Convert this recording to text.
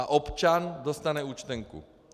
A občan dostane účtenku.